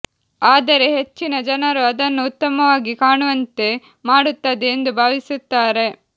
ಆದರೆ ಹೆಚ್ಚಿನ ಜನರು ಅದನ್ನು ಉತ್ತಮವಾಗಿ ಕಾಣುವಂತೆ ಮಾಡುತ್ತದೆ ಎಂದು ಭಾವಿಸುತ್ತಾರೆ